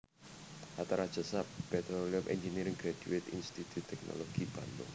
Hatta Rajasa Petroleum Engineering Graduate Institut Teknologi Bandung